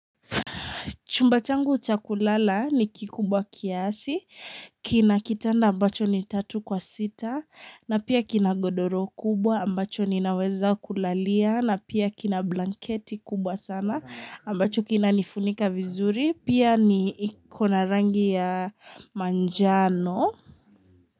Chumbachangu chakulala ni kikubwa kiasi, kina kitanda ambacho ni tatu kwa sita, na pia kina godoro kubwa, ambacho ninaweza kulalia, na pia kina blanketi kubwa sana, ambacho kina nifunika vizuri, pia ni ikona rangi ya manjano.